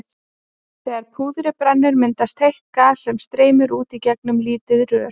Þegar púðrið brennur myndast heitt gas sem streymir út í gegnum lítið rör.